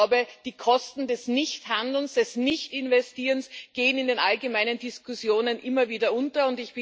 Ich glaube, die Kosten des Nichthandelns, des Nichtinvestierens gehen in den allgemeinen Diskussionen immer wieder unter.